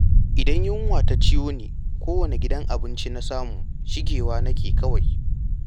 Idan yunwa ta ciyo ni kowane gidan abinci na samu shiga nake yi kawai.